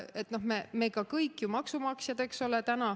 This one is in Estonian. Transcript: Me oleme ju kõik täna maksumaksjad.